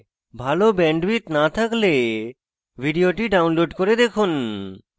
ভাল bandwidth না থাকলে ভিডিওটি download করে দেখুন